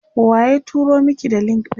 waye turo Maki da link ɗin?